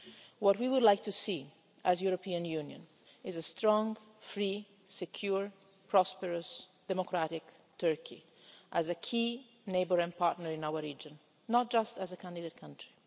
What we would like to see, as the European Union, is a strong, free, secure, prosperous and democratic Turkey as a key neighbour and partner in our region, not just as a candidate country.